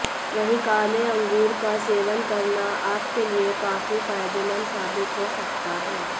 वहीं काले अंगूर का सेवन करना आपके लिए काफी फायदेमंद साबित हो सकता है